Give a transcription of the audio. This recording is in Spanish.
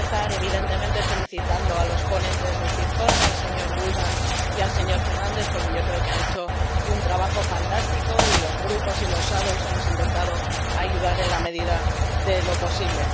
Quiero empezar, evidentemente, felicitando a los ponentes de este informe, el señor Bullmann y el señor Fernandes, porque yo creo que han hecho un trabajo fantástico y los grupos y los ponentes alternativos hemos intentado ayudar en la medida de lo posible.